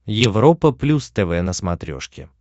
европа плюс тв на смотрешке